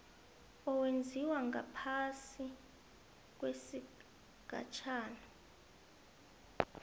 owenziwa ngaphasi kwesigatjana